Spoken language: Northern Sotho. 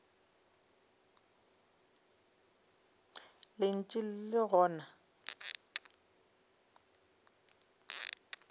le ntše le le gona